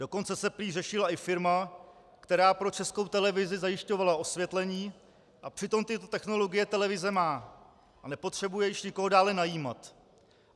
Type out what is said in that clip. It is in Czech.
Dokonce se prý řešila i firma, která pro Českou televizi zajišťovala osvětlení, a přitom tyto technologie televize má a nepotřebuje již nikoho dále najímat.